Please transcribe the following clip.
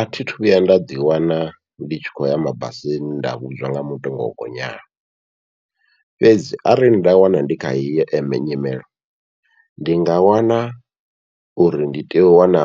Athi thu vhuya nda ḓi wana ndi tshi khou ya mabasini nda vhudzwa nga mutengo wogonyaho, fhedzi arali nda wana ndi kha heyi eme nyimelo ndi nga wana uri ndi tea u wana